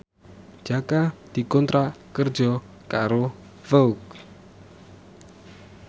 Jaka dikontrak kerja karo Vogue